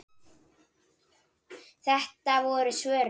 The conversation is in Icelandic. Þetta voru svörin.